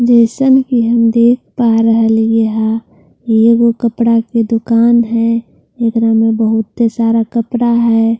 जैसा कि हम देख पा रहे यहा ये वो कपड़ा की दुकान है एकरा में बहुत सारा कपड़ा है।